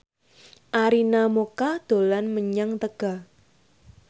Arina Mocca dolan menyang Tegal